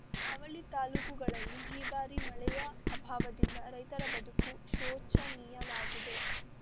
ಅವಳಿ ತಾಲೂಕುಗಳಲ್ಲಿ ಈ ಬಾರಿ ಮಳೆಯ ಅಭಾವದಿಂದ ರೈತರ ಬದುಕು ಶೋಚನೀಯವಾಗಿದೆ